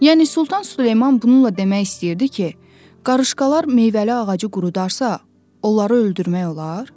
Yəni Sultan Süleyman bununla demək istəyirdi ki, qarışqalar meyvəli ağacı qurudarsa, onları öldürmək olar?